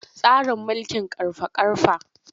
Tsarin mulkin ƙarfa-ƙarfa.